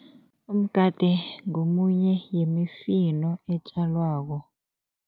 Umgade ngomunye yemifino etjalwako.